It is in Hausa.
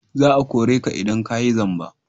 Za a kore ka idan ka yi zamba!